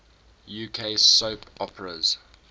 uk soap operas